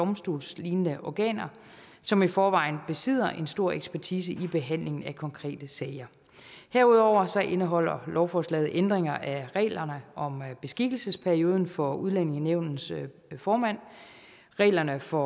og domstolslignende organer som i forvejen besidder en stor ekspertise i behandlingen af konkrete sager herudover indeholder lovforslaget ændringer af reglerne om beskikkelsesperioden for udlændingenævnets formand reglerne for